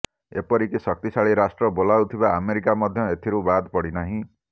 ଏପରିକି ଶକ୍ତିଶାଳୀ ରାଷ୍ଟ୍ର ବୋଲାଉଥିବା ଆମେରିକା ମଧ୍ୟ ଏଥିରୁ ବାଦ୍ ପଡ଼ିନାହିଁ